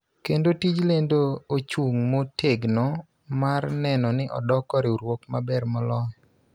kendo tij lendo ochung� motegno mar neno ni odoko riwruok maber moloyo.